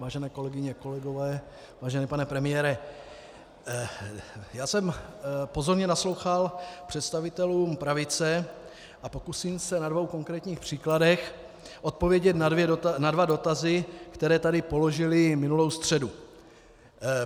Vážené kolegyně, kolegové, vážený pane premiére, já jsem pozorně naslouchal představitelům pravice a pokusím se na dvou konkrétních příkladech odpovědět na dva dotazy, které tady položili minulou středu.